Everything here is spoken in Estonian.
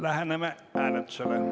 Läheneme hääletusele.